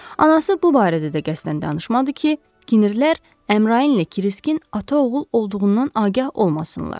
Anası bu barədə də qəsdən danışmadı ki, kinirlər Əmrainlə Kirskin ata-oğul olduğundan agah olmasınlar.